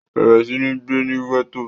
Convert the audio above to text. bẹ̀rẹ̀ sí ní gbé ní gẹ̀tò